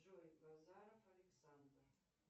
джой назаров александр